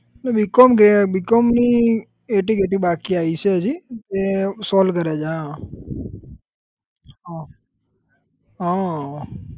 એટલે B com ઘે B com ની એટી ગેટી બાકી આઈ છે હજી એ solve કરે છે હા હા હમ